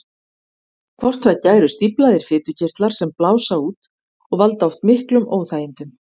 Hvort tveggja eru stíflaðir fitukirtlar sem blása út og valda oft miklum óþægindum.